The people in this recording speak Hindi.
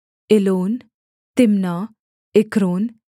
Elon Timnah Ekron